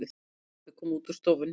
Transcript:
Pabbi kom út úr stofunni.